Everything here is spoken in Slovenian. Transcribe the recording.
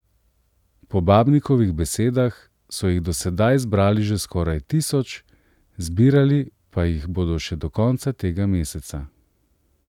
Po Babnikovih besedah so jih do sedaj zbrali že skoraj tisoč, zbirali pa jih bodo še do konca tega meseca.